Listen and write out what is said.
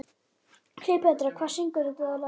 Kleópatra, hver syngur þetta lag?